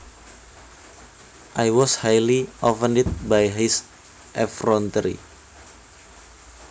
I was highly offended by his effrontery